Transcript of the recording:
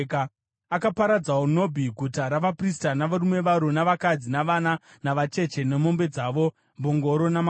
Akaparadzawo Nobhi, guta ravaprista, navarume varo navakadzi, navana navacheche, nemombe dzaro, mbongoro namakwai.